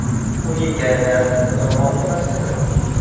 Uning kayfiyati yomon emas edi.